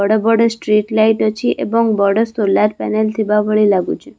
ବଡ ବଡ street light ଅଛି ଏବଂ ବଡ ସୋଲାର୍‌ ପାନେଲ୍‌ ଥିବା ଭଳି ଲାଗୁଛି ।